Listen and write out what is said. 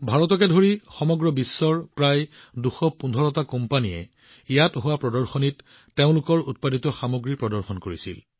ভাৰতকে ধৰি সমগ্ৰ বিশ্বৰ প্ৰায় ২১৫ টা কোম্পানীয়ে প্ৰদৰ্শনীত তেওঁলোকৰ সামগ্ৰী প্ৰদৰ্শন কৰিছিল